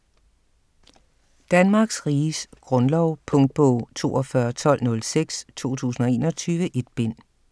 Danmarks Riges Grundlov Punktbog 421206 2021. 1 bind.